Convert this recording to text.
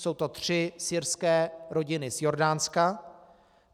Jsou to tři syrské rodiny z Jordánska.